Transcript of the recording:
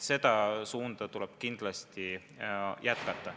Seda suunda tuleb kindlasti hoida.